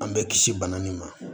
An bɛ kisi bana min ma